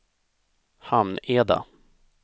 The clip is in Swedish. Hamneda